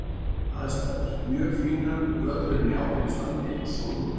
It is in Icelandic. Aðstæður: Mjög fínar, völlurinn í ágætu standi og sól og blíða.